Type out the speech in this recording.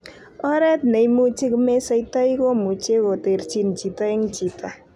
Oret ne imuche komesoitoi komuche koterchin chito en chito.